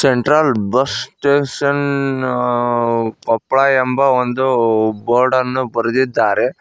Central bus station ಅ ಅ ಕೊಪ್ಪಳ ಎಂಬ ಒಂದು ಬೋರ್ಡನ್ನು ಬರೆದಿದ್ದಾರೆ.